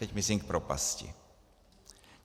Teď myslím k propasti.